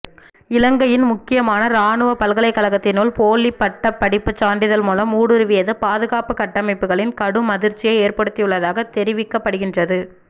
இலங்கையின் முக்கிமான இராணுவப பல்கலைக்கழகத்தினுள் போலிப்பட்டப் படிப்புச் சான்றிதழ் மூலம் ஊடுருவியது பாதுகாப்புக் கட்டமைப்புகளில் கடும் அதிர்ச்சியை ஏற்படுத்தியுள்ளதாக தெரிவிக்கப்படுகின்றது